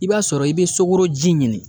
I b'a sɔrɔ i be sukoroji ɲini